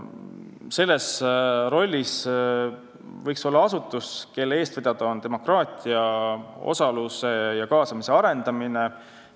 Selles rollis võiks olla asutus, kelle eestvedamisel käib demokraatia, osaluse ja kaasamise arendamine.